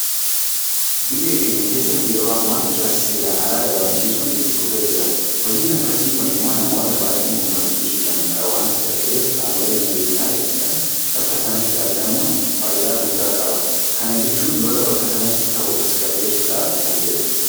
Biyya keenya keessatti yeroo amma ijaarsa seeraan alaa dhabamsiisuun itti fufee jira. Hojiin akkasii kun immoo namoota baay'ee mufachiisuu danda'a waanta ta'eef qaamoleen nageenya eegsisan bakka sanatti argamuun faayidaa guddaa qaba. Kana jechuun lola bakka sanatti ka'u tasgabbeessuudhaaf fayyada.